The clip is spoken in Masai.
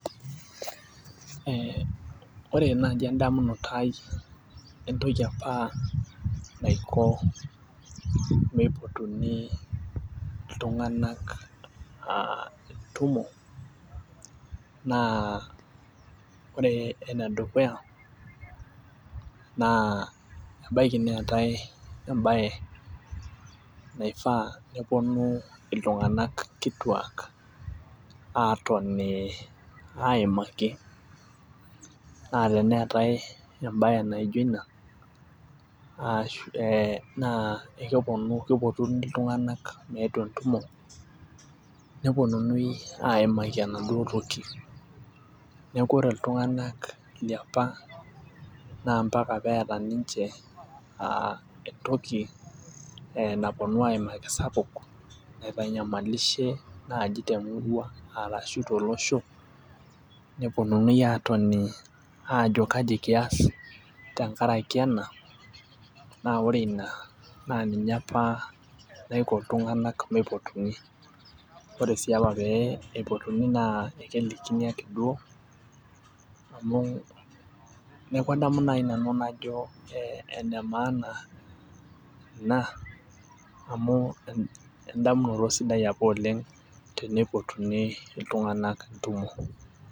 ee ore naaji edamunoto ai entoki apa naiko, meipotuni iltunganak.aa kumok naa ore ene dukuya naa ebaiki neetae ebaye naifaa nepuonu iltungank kituak aatoni aimaki. naa teneetae embae naijo ina. naa kepuonu, kipotuni iltunganak meetu entumo, neuonunui aimaki enaduo toki. neeku ore iltunganak liapa. nnaa mpaka peeta ninche entoki napuonu aimaki sapuk, naitanyamalushe naaji temurua arashu tolosho nepuonunui aatoni, aajo kaji kias tenkaraki ena. naa ore ina, naa ninye apa naiko iltunganak meipotuni. ore sii apa pee eipotuni naa ekelikini ake duo. amu neeku adamu naaji nanu najo ene maana ina amu edamunoto sidai apa oleng teneipotuni iltunganak kumok.